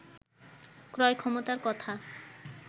ক্রয় ক্ষমতার কথা